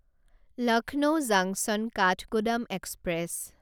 Lucknow junction Kathgodam express